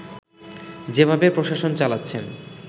যেভাবে প্রশাসন চালাচ্ছেন